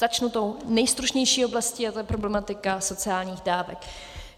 Začnu tou nejstručnější oblastí a tou je problematika sociálních dávek.